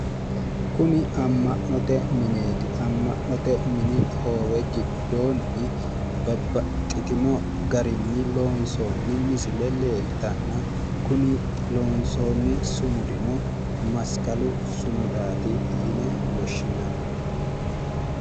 Kuni amma'note mineeti amma'note hoowe giddoonni babbaxxitino garinni loonsoonni misile leeltanna kuni lonsoonni sumudino masqalu sumudaati yine woshshinanni